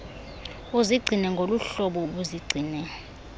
uzigcine ngoluhlobo ubuzigcine